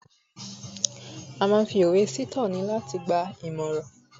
a ma n fi òwe se itoni ati igbaninimoran